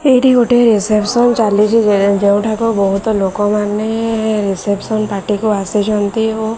ଏଇଠି ଗୋଟେ ରିସେପ୍ସନ ଚାଲିଛି। ଯେ ଯେଉଁଠାକୁ ବୋହୁତ ଲୋକମାନେ ରିସେପ୍ସନ ପାର୍ଟି କୁ ଆସିଛନ୍ତି ଓ --